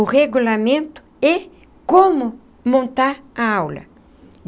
o regulamento e como montar a aula.